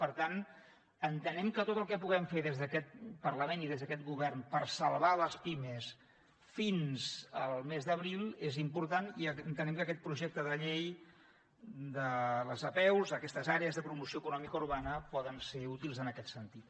per tant entenem que tot el que puguem fer des d’aquest parlament i des d’aquest govern per salvar les pimes fins al mes d’abril és important i entenem que aquest projecte de llei de les apeus aquestes àrees de promoció econòmica urbana poden ser útils en aquest sentit